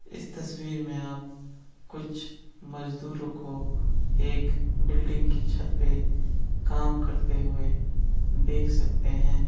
इस तस्वीर में आप कुछ मजदूरों को एक बिल्डिंग की छत पे काम करते हुए देख सकते है।